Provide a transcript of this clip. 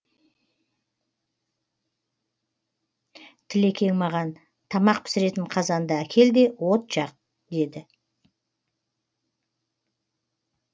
тілекең маған тамақ пісіретін қазанды әкел де от жақ деді